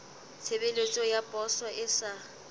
tshebeletso ya poso e sa